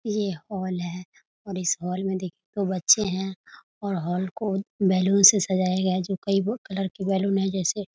ये हॉल है और इस हॉल में देखिए बच्चे हैंऔर हॉल को बैलून से सजाया गया है जो कई कलर के बैलून है जैसे --